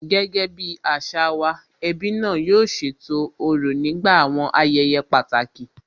Gẹ́gẹ́ bí àṣà wa, ẹbí náà yóò ṣètò òrò nígbà àwọn ayẹyẹ pàtàkì